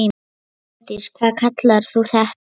Hjördís: Hvað kallar þú þetta?